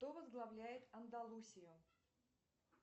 кто возглавляет андалусию